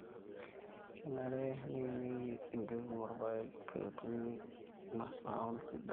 kenare neimieki embeku olpaek peeetumi masaom sidan